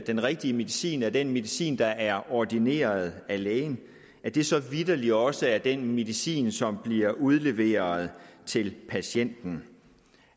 den rigtige medicin er den medicin der er ordineret af lægen og at det så vitterlig også er den medicin som bliver udleveret til patienten